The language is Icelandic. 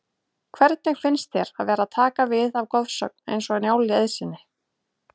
Hvernig finnst þér að vera að taka við af goðsögn eins og Njáli Eiðssyni?